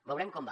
veurem com va